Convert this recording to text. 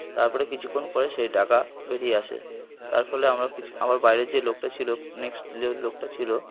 তারপরে কিছুক্ষণ পরে সেই টাকা বেরিয়ে আসে তারফলে আমরা বাইরে যে লোকটা ছিল লোকটা ছিল।